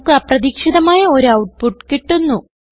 നമുക്ക് അപ്രതീക്ഷിതമായ ഒരു ഔട്ട്പുട്ട് കിട്ടുന്നു